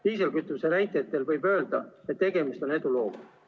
Diislikütuse näitel võib öelda, et tegemist on edulooga.